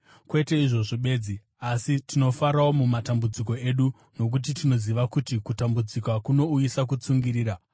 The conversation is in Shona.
Kwete izvozvo bedzi, asi tinofarawo mumatambudziko edu, nokuti tinoziva kuti kutambudzika kunouyisa kutsungirira,